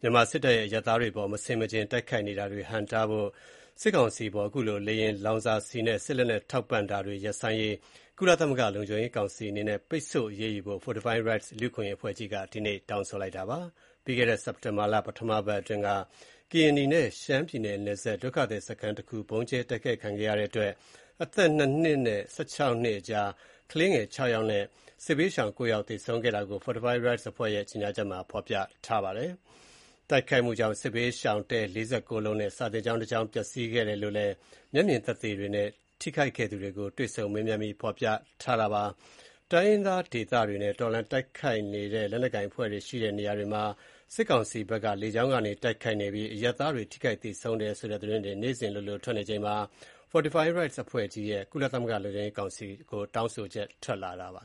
မြန်မာစစ်တပ်ရဲ့ အရပ်သားတွေအပေါ် မဆင်မခြင်တိုက်ခိုက်နေတာတွေကို ဟန့်တားဖို့ စစ်ကောင်စီအပေါ် လေယာဉ်လောင်စာဆီနဲ့ စစ်လက်နက်ထောက်ပံ့တာတွေ ရပ်ဆိုင်းရေး ကုလသမဂ္ဂ လုံခြု့ရေးကောင်စီအနေနဲ့ ပိတ်ဆို့အရေးယူဖို့ လူ့အခွင့်အရေး အဖွဲ့ အစည်းတခုဖြစ်တဲ့ Fortify Rights အဖွဲ့ကြီးက ဒီနေ့ တောင်းဆိုလိုက်ပါတယ်။ ပြီးခဲ့တဲ့ စက်တင်ဘာလ ပထမပတ်အတွင်းက ကရင်နီနဲ့ ရှမ်းပြည်နယ် နပ်စပ် ဒုက္ခသည်စခန်းတခု ဗုံးကျဲတိုက်ခိုက်ခံခဲ့ရတဲ့အတွက် အသက် ၂ နှစ်နဲ့ ၁၆ နှစ်အကြား ကလေးငယ် ၆ ယောက်နဲ့ စစ်ဘေးရှောင် ၉ ယောက် သေဆုံးခဲ့တာကိုFortify Rights အဖွဲ့ရဲ့ ကြေညာချက်မှာ ဖေါ်ပြပါတယ်။ တိုက်ခိုက်မှုကြောင့် စစ်ဘေးရှောင်တဲ ၄၉ လုံးနဲ့ စာသင်ကျောင်းတကျောင်း ပျက်စီးခဲ့တယ်လို့လည်း မျက်မြင်သက်သေတွေနဲ့ ထိခိုက်ခဲ့သူတွေကို တွေ့ဆုံမေးမြန်းပြီး ဖေါ်ပြထားတာပါ။ တိုင်းရင်းသားဒေသတွေနဲ့ တော်လှန်တိုက်ခိုက်တဲ့ လက်နက်ကိုင်အဖွဲ့တွေ ရှိတဲ့နေရာတွေမှာ စစ်ကောင်စီဘက်က လေကြောင်းကနေ တိုက်ခိုက်နေပြီး အရပ်သားတွေ ထိခိုက်သေဆုံးတယ်ဆိုတဲ့ သတင်းတွေ နေ့စဉ်လိုလို ထွက်နေချိန်မှာ Fortify Rights အဖွဲ့ကြီးရဲ့ ကုလသမဂ္ဂ လုံခြုံရေးကောင်စီကို တောင်းဆိုချက် ထွက်လာတာပါ